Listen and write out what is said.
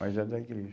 Mas era da igreja.